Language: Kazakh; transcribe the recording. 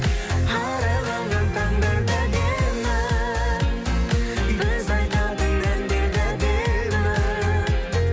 арайланған таңдар да әдемі біз айтатын әндер де әдемі